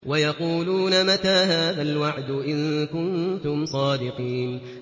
وَيَقُولُونَ مَتَىٰ هَٰذَا الْوَعْدُ إِن كُنتُمْ صَادِقِينَ